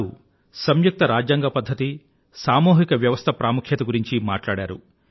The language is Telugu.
వారు సంయుక్త రాజ్యాంగ పధ్ధతి సామూహిక వ్యవస్థ ప్రాముఖ్యత గురించి మాట్లాడారు